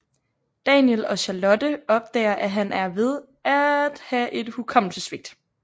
Daniel og Charlotte opdager at han er ved at have et hukommelsessvigt